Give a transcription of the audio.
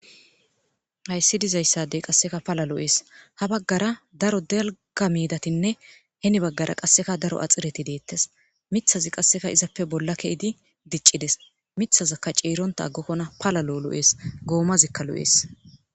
hayssi dizayssadey qasseka pala lo7ees ha baggara daro delga medatinne hini baggara qasseka daro axireti deettes mithazi qasseka izappe bolla ke7idi diccides mithazakka cieronta aggokkona pala lo7 lo7ees goomazikka lo7ees